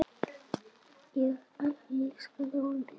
Ég elskaði orðið NEI!